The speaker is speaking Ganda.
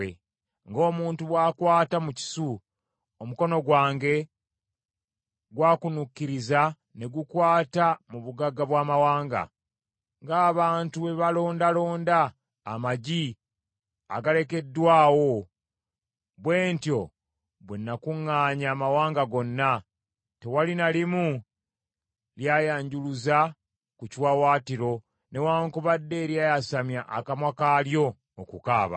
Ng’omuntu bw’akwata mu kisu, omukono gwange gw’akunuukiriza ne gukwata mu bugagga bw’amawanga; ng’abantu bwe balondalonda amagi agalekeddwawo, bwe ntyo bwe nakuŋŋaanya amawanga gonna, tewali na limu lyayanjuluza ku kiwaawaatiro, newaakubadde eryayasamya akamwa kaalyo okukaaba.’ ”